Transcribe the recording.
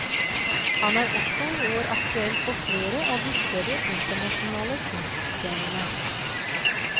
Han er også i år aktuell på flere av de større internasjonale kunstscenene.